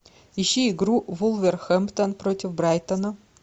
ищи игру вулверхэмптон против брайтона